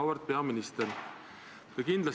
Auväärt peaminister!